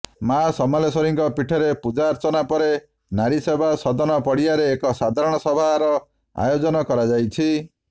ମା ସମଲେଶ୍ବରୀଙ୍କ ପୀଠରେ ପୂଜାର୍ଚ୍ଚନା ପରେ ନାରୀସେବା ସଦନ ପଡିଆରେ ଏକ ସାଧାରଣ ସଭାର ଆୟୋଜନ କରାଯାଇଛି